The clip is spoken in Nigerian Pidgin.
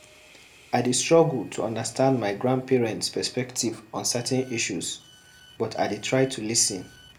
I dey struggle to understand my grandparents' perspective on certain issues, but I dey try to lis ten.